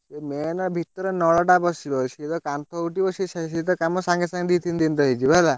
ଇଏ main ଭିତେରେ ନଳ ଟା ବସିବ ସିଏ ତ କାନ୍ଥ ଉଠିବ ସିଏ ସେଇ ସିଧା କାମ ସାଙ୍ଗେ ସାଙ୍ଗେ ଦି ତିନିଦିନରେ ହେଇଯିବ ହେଲା।